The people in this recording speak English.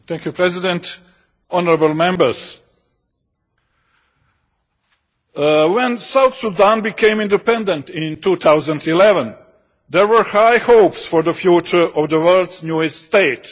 Mr President, honourable Members, when South Sudan became independent in 2011 there were high hopes for the future of the world's newest state.